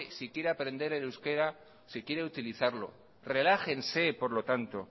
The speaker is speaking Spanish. si quiere aprender el euskera si quiere utilizarlo relájense por lo tanto